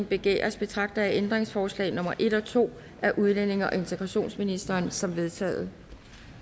begæres betragter jeg ændringsforslag nummer en og to af udlændinge og integrationsministeren som vedtaget